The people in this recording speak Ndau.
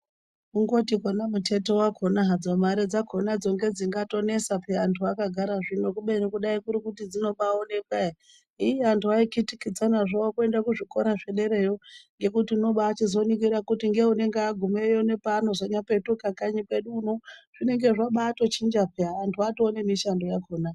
Kungoti pona muteto wakona hadzo mari dzakona ndedzingatonesa peyani antu akagara zvino kubeni kudai kuri kuti dzinotobaonekwa ere , iii antu aikitikidzanazvo mukuenda kuzvikora zvederayo nekuti unobakuzoringira kuti neunenge agumeyo nepaanozopetuka kanyi kwedu uno zvinenge zvabatochinja peya antu atonemishando yakona .